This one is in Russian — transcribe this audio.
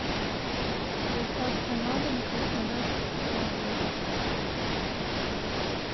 доставка на дом краснодарских яблок